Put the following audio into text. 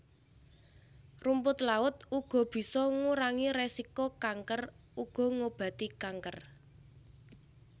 Rumput laut uga bisa ngurangi resiko kanker uga ngobati kanker